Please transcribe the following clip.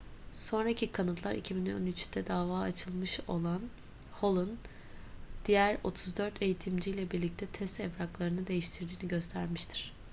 sonraki kanıtlar 2013'te dava açılmış olan hall'un diğer 34 eğitimciyle birlikte test evraklarını değiştirdiğini göstermiştir